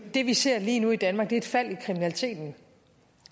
det vi ser lige nu i danmark er et fald i kriminaliteten